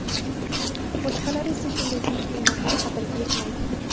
Boshqalari esa shunday buyuk ne’matning qadriga yetmaydi.